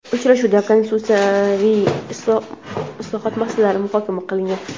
uchrashuvda konstitutsiyaviy islohot masalalari muhokama qilingan.